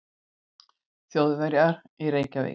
Þjóðverja í Reykjavík.